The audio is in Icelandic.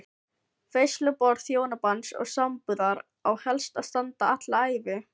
Veisluborð hjónabands og sambúðar á helst að standa alla ævi.